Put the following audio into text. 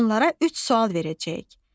Onlara üç sual verəcəyik.